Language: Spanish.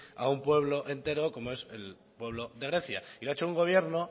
a un pueblo entero como es el pueblo de grecia y lo ha hecho un gobierno